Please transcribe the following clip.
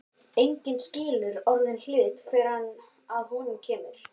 Enginn skilur orðinn hlut fyrr en að honum kemur.